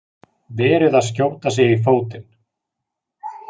Verið að skjóta sig í fótinn